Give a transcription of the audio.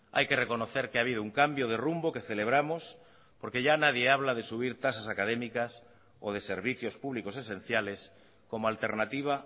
hay que reconocer que ha habido un cambio de rumbo que celebramos porque ya nadie habla de subir tasas académicas o de servicios públicos esenciales como alternativa